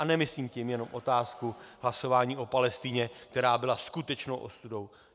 A nemyslím tím jenom otázku hlasování o Palestině, která byla skutečnou ostudou.